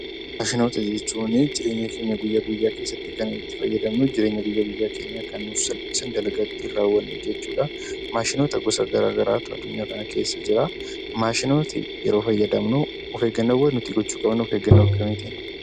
Maashinoota jechuun jireenya keenya guyyaa guyyaa keessatti kan itti fayyadamnu, jireenya guyyaa guyyaa keenyaa kan nuuf salphisan, dalagaa ittiin raawwannu jechuudha. Maashinoota gosa garaa garaatu addunyaa kana keessa jira. Maashinoota yeroo fayyadamnu of eeggannoo nuti gochuu qabnu of eeggannoo akkamiitii?